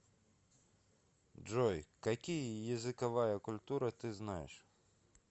джой какие языковая культура ты знаешь